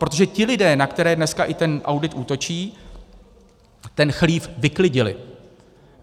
Protože ti lidé, na které dnes i ten audit útočí, ten chlív vyklidili.